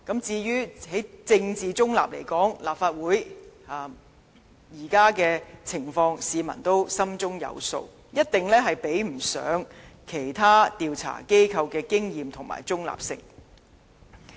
至於在政治中立來說，立法會現時的情況，市民亦心中有數，一定不及其他調查機構的經驗和中立性。